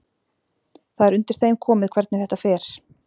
Það er undir þeim komið hvernig þetta fer.